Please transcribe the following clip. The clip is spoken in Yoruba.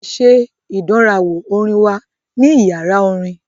A ṣe ìdánrawò orin wa ní yàrá orin.